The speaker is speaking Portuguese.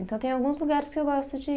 Então tem alguns lugares que eu gosto de